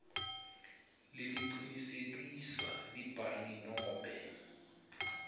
lelicinisekiswe libhange nobe